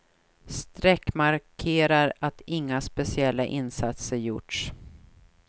Streck markerar att inga speciella insatser gjorts.